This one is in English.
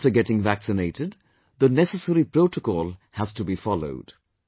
Even after getting vaccinated, the necessary protocol has to be followed